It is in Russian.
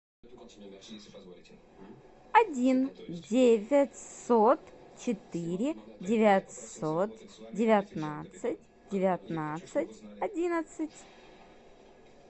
один девятьсот четыре девятьсот девятнадцать девятнадцать одиннадцать